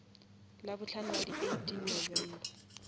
labohlano la di eighteen november